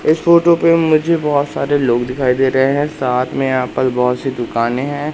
इस फोटो पे मुझे बहोत सारे लोग दिखाई दे रहे है साथ मे यहां पल बहोत सी दुकानें है।